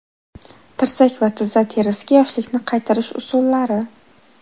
Tirsak va tizza terisiga yoshlikni qaytarish usullari.